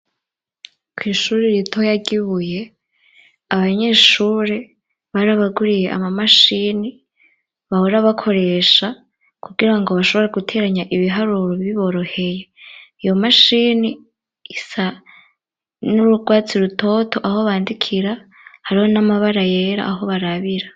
kw' ishure ritoya ry'Ibuye, abanyeshure barabaguriye ama mashini bahora bakoresha kugirango bashobore guteranya ibiharuro biboroheye, iyo mashini isa n'ururwatsi rutoto aho bandikira, hariho n'amabara yera aho barabira.